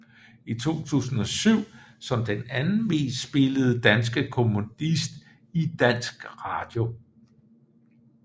I 2007 som den anden mest spillede danske komponist i dansk radio